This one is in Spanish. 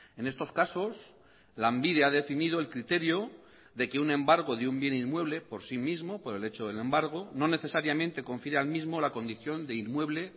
en estos casos lanbide ha definido el criterio de que un embargo de un bien inmueble por sí mismo por el hecho del embargo no necesariamente confiere al mismo la condición de inmueble